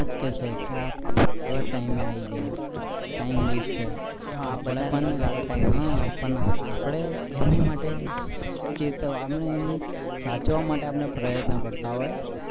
ગલત time આયી ગયા. time west થાઈ પણ આપણને લાગે time west છે પણ આપણે એમી માટે ચેતવા આપણે એમને સાચવા માટે પ્રત્યન કરતા હોય.